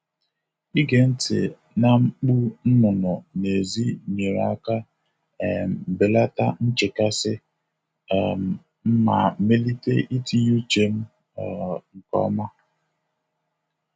Ige ntị na mkpu nnụnụ n'èzí nyere aka um belata nchekasị um m ma melite itinye uche m um nke ọma.